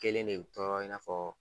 Kelen de bɛ tɔrɔ i n'a fɔ